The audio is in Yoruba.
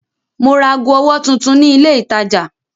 Mo ra ago ọwọ́ tuntun ni ilé-ìtajà.